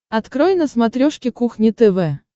открой на смотрешке кухня тв